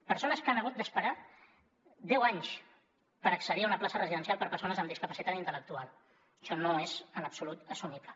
persones que han hagut d’esperar deu anys per accedir a una plaça residencial per a persones amb discapacitat intel·lectual això no és en absolut assumible